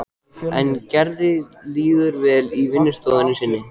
En Gerði líður vel í vinnustofunni sinni.